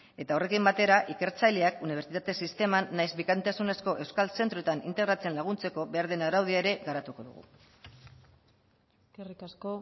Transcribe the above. eta horrekin batera ikertzaileak unibertsitate sisteman nahiz bikaintzasunezko euskal zentroetan integratzen laguntzeko behar den araudia ere garatuko dugu eskerrik asko